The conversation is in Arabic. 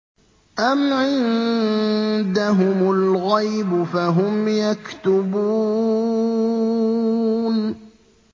أَمْ عِندَهُمُ الْغَيْبُ فَهُمْ يَكْتُبُونَ